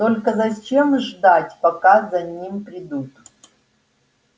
только зачем ждать пока за ним придут